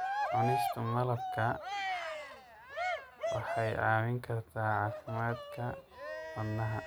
Cunista malabka waxay caawin kartaa caafimaadka wadnaha.